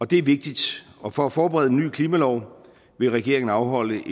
det er vigtigt og for at forberede en ny klimalov vil regeringen afholde